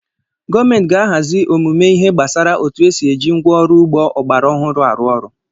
Gọọmenti ga-ahazi ọmụmụ ihe gbasara otu esi eji ngwa ọrụ ugbo ọgbara ọhụrụ arụ ọrụ.